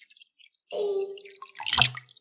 Þá fæ ég frí.